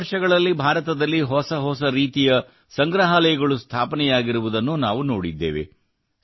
ಕಳೆದ ವರ್ಷಗಳಲ್ಲಿ ಭಾರತದಲ್ಲಿ ಹೊಸ ಹೊಸ ರೀತಿಯ ಸಂಗ್ರಹಾಲಯಗಳು ಸ್ಥಾಪನೆಯಾಗಿರುವುದನ್ನು ನಾವು ನೋಡಿದ್ದೇವೆ